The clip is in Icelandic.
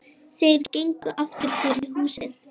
Þeir gengu aftur fyrir húsið.